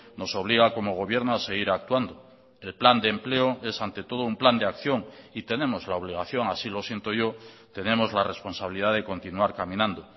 nos obliga como gobierno ha seguir actuando el plan de empleo es ante todo un plan de acción y tenemos la obligación así lo siento yo tenemos la responsabilidad de continuar caminando